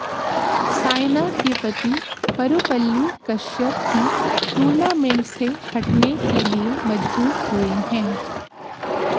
सायना के पति परुपल्ली कश्यप भी टूर्नामेंट से हटने के लिए मजबूर हुए हैं